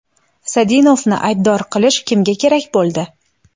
Sadinovni aybdor qilish kimga kerak bo‘ldi?